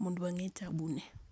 mondo wang'e ka ma taabu ne nitie.